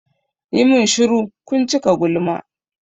Ku min shuru! kun cika gulma.